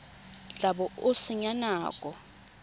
tla bo o senya nako